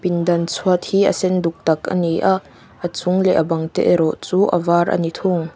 pindan chhuat hi a sen duk tak ani a a chung leh a bang te erawh chu a var a ni thing.